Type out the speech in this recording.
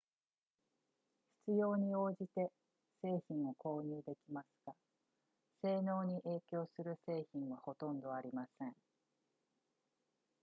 必要に応じて製品を購入できますが性能に影響する製品はほとんどありません